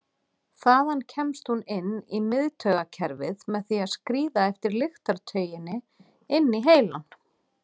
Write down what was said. Þaðan kemst hún inn í miðtaugakerfið með því að skríða eftir lyktartauginni inn í heilann.